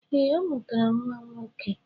Ee, ọ mụtara nwa nwoke.